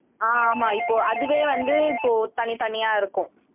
ஆஹ் ஆமா இப்போ அதுவே வந்து இப்போ தனித்தனியா இருக்கும்